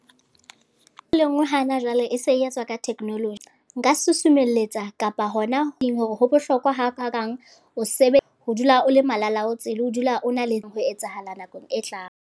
E le nngwe hana jwale, e se e etswa ka technolo. Nka susumelletsa kapa hona ho hore ho bohlokwa ha kakang o se be, ho dula o le malalaotswe le ho dula o na le ho etsahala nakong e tlang.